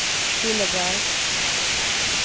Killeberg